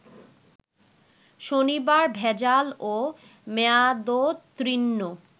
শনিবার ভেজাল ও মেয়াদোত্তীর্ন